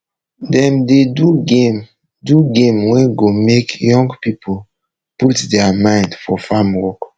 dem dey do game do game wey go make young pipo put deir mind for farm work